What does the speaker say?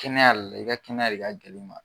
Kɛnɛya l i ka kɛnɛya de ka gɛl'u ma.